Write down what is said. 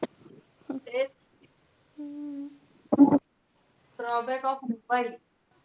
तेच drawback of mobile.